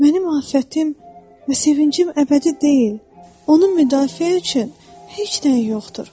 Mənim afətim və sevincim əbədi deyil, onu müdafiə üçün heç nəyim yoxdur.